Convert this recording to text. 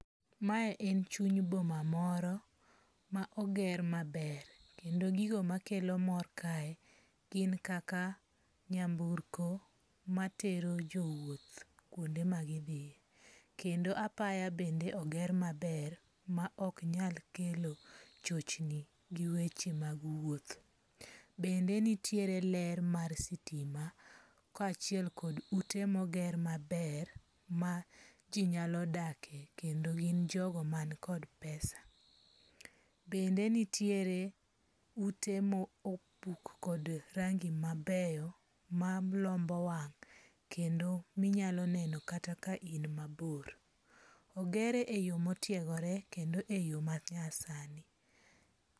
Mae en chuny boma moro ma oger maber kendo gigo makelo mor kae gin kaka nyamburko matero jowuoth kuonde ma gidhiye. Kendo apaya bende oger maber ma ok nyal kelo chochni gi weche mag wuoth. Bende nitiere ler mar sitima kaachiel kod ute moger maber ma ji nyalo dakie kendo gi jogo man kod pesa. Bende nitiere ute mobuk kod rangi mabeyo malombo wang kendo minyalo neno kata ka in mabor. Ogere e yo motiegore kendo e yo ma nyasani.